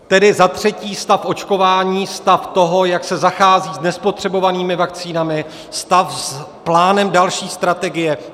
Tedy za třetí stav očkování, stav toho, jak se zachází s nespotřebovanými vakcínami, stav s plánem další strategie.